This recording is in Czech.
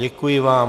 Děkuji vám.